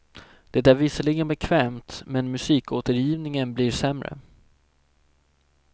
Det är visserligen bekvämt men musikåtergivningen blir sämre.